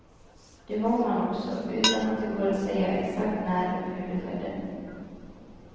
Det var man också, utan att det går att säga exakt när och hur det skedde.